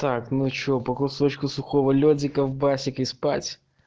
так ну что по кусочку сухого ледика в басик и спать